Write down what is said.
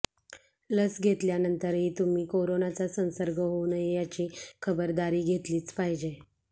लस घेतल्यानंतरही तुम्ही करोनाचा संसर्ग होऊ नये याची खबरदारी घेतलीच पाहिजे